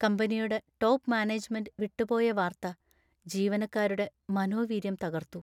കമ്പനിയുടെ top management വിട്ടുപോയ വാർത്ത ജീവനക്കാരുടെ മനോവീര്യം തകർത്തു.